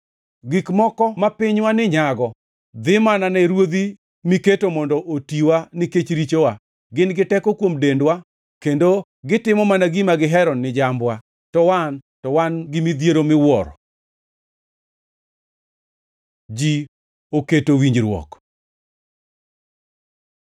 Gik moko ma pinywani nyago dhi mana ne ruodhi miketo mondo otiwa nikech richowa. Gin gi teko kuom dendwa kendo gitimo mana gima gihero ni jambwa, to wan, to wan gi midhiero miwuoro. Ji oketo winjruok